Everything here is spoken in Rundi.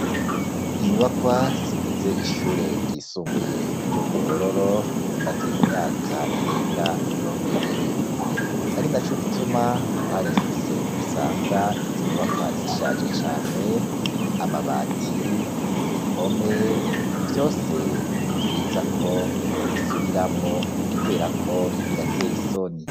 inyubakwa zigize ishure ry'isumbuye ryo ku ruhororo zimaze imyaka irenga mirongo ibiri ari na co gituma uharengutse usanga izo nyubakwa zishaje cane amabati impome vyose nivyiza ko bo bisubiramwo kubera ko birateye isoni.